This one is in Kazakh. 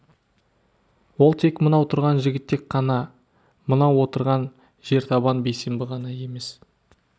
ол тек мынау тұрған жігітек қана мынау отырған жертабан бейсенбі ғана емес